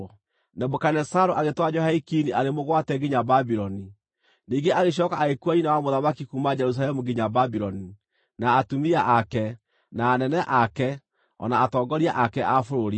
Nebukadinezaru agĩtwara Jehoiakini arĩ mũgwate nginya Babuloni. Ningĩ agĩcooka agĩkuua nyina wa mũthamaki kuuma Jerusalemu nginya Babuloni, na atumia ake, na anene ake, o na atongoria ake a bũrũri.